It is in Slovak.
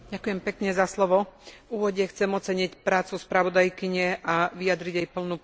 V úvode chcem oceniť prácu spravodajkyne a vyjadriť jej plnú podporu.